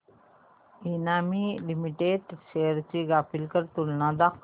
Emami limited shares ची graphical तुलना दाखव